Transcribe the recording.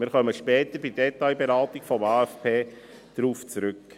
Wir kommen später bei der Detailberatung des AFP darauf zurück.